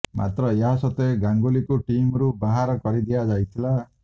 ମାତ୍ର ଏହା ସତ୍ତ୍ବେ ଗାଙ୍ଗୁଲିଙ୍କୁ ଟିମ୍ ରୁ ବାହାର କରିଦିଆଯାଇଥିଲା